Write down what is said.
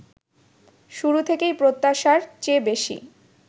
শুরু থেকেই প্রত্যাশার চেয়ে বেশি